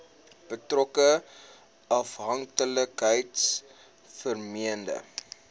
betrokke afhanklikheids vormende